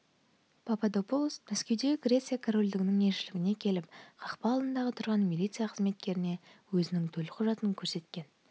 пападопулос мәскеудегі греция корольдігінің елішілігіне келіп қақпа алдында тұрған милиция қызметкеріне өзінің төлқұжатын көрсеткен